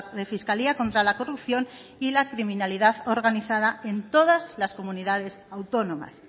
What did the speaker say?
de fiscalía contra la corrupción y la criminalidad organizada en todas las comunidades autónomas